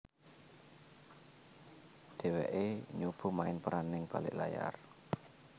Dheweké nyoba main peran ning balik layar